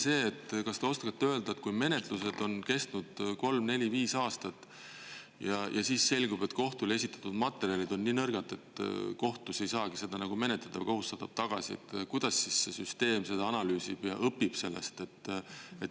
See, et kas te oskate öelda, et kui menetlused on kestnud kolm, neli, viis aastat ja siis selgub, et kohtule esitatud materjalid on nii nõrgad, et kohtus ei saagi seda menetleda, kohus saadab tagasi, kuidas siis see süsteem seda analüüsib ja õpib sellest?